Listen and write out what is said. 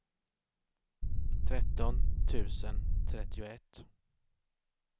tretton tusen trettioett